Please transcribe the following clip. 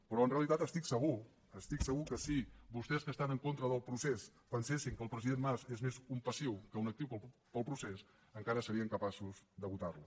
però en realitat estic segur estic segur que si vostès que estan en contra del procés pensessin que el president mas és més un passiu que un actiu per al procés encara serien capaços de votarlo